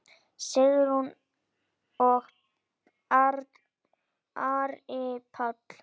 Sigrún og Ari Páll.